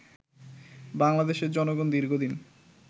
বাংলাদেশের জনগণ দীর্ঘদিন